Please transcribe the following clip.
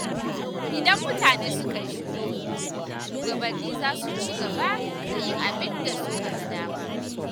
Idan mutane suka yi shiru, shugabanni za su ci gaba da yin abin da suka ga dama.